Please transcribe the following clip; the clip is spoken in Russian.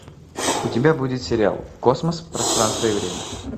у тебя будет сериал космос пространство и время